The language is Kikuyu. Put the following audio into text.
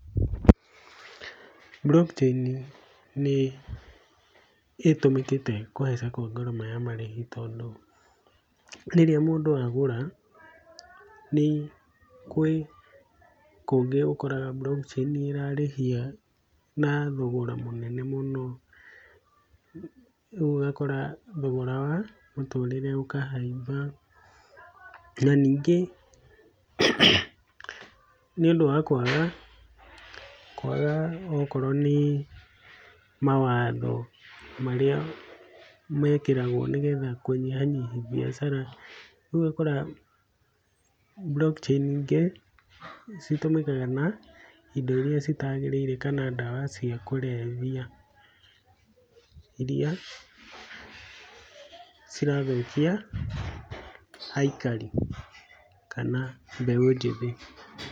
Block Chain nĩ hũthĩkĩte harĩ kũhamba gwa ngarama ya marĩhi tondũ, rĩrĩa mũndũ agũra gwĩkũngĩ ũkoraga Block Chain ĩrarĩhia na thogoro mũnene mũno, rĩu ũgakora thogora wa mũtũrĩre ũkahaimba, na ningĩ nĩ ũndũ wa kwaga okorwo nĩ mawatho marĩa mekĩragwo kũnyihanyihia biacara rĩu ũgakora Block Chain nyingĩ nĩcio cihũthĩkaga na indo iria itagĩrĩire kana dawa cia kũrebia iria cirathũkia aikari kana mbeũ njĩthĩ.